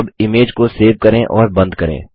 अब इमेज को सेव करें और बंद करें